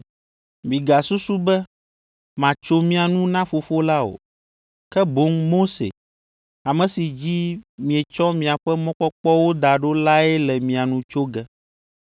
“Migasusu be matso mia nu na Fofo la o, ke boŋ Mose, ame si dzi mietsɔ miaƒe mɔkpɔkpɔwo da ɖo lae le mia nu tso ge.